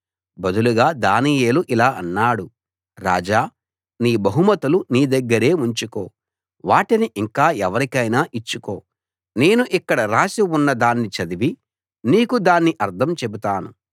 బదులుగా దానియేలు ఇలా అన్నాడు రాజా నీ బహుమతులు నీ దగ్గరే ఉంచుకో వాటిని ఇంకా ఎవరికైనా ఇచ్చుకో నేను ఇక్కడ రాసి ఉన్నదాన్ని చదివి నీకు దాని అర్థం చెబుతాను